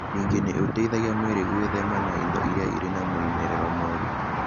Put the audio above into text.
Ningĩ nĩ ũteithagia mwĩrĩ gwĩthema indo iria irĩ na moimĩrĩro moru.